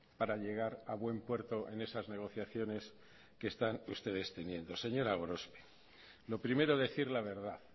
para llegar a buen puerto en esas negociaciones que están ustedes teniendo señora gorospe lo primero decir la verdad